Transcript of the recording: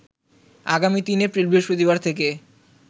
আগামী ৩ এপ্রিল বৃহস্পতিবার থেকে